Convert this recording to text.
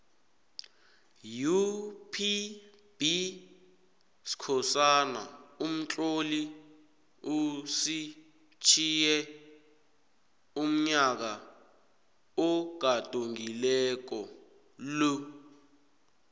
upbskhosana umtloli usitjhiye unyaka ogadungako lo